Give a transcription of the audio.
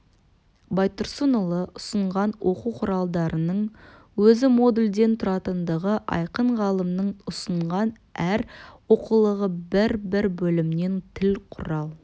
байтұрсынұлы ұсынған оқу құралдарының өзі модульден тұратындығы айқын ғалымның ұсынған әр оқулығы бір-бір бөлімнен тіл құрал